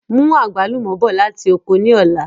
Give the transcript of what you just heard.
Mú àgbálùmọ̀ bọ̀ láti oko ni ọ̀la!